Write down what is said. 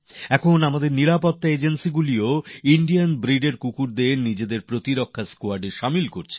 এখন আমাদের নিরাপত্তা সংস্থাগুলি ভারতীয় প্রজাতির কুকুরকে নিজেদের সুরক্ষা দলে অন্তর্ভুক্ত করছে